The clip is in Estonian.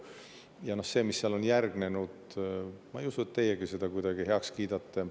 Ja seda, mis seal on järgnenud, ma ei usu, et teiegi kuidagi heaks kiidate.